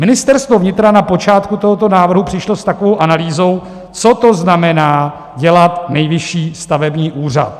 Ministerstvo vnitra na počátku tohoto návrhu přišlo s takovou analýzou, co to znamená dělat Nejvyšší stavební úřad.